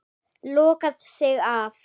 Lokaði sig af.